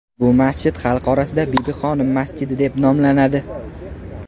Bu masjid xalq orasida Bibixonim masjidi deb nomlanadi.